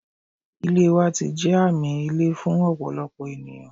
Ilẹ wa ti jẹ aami ile fun ọpọlọpọ eniyan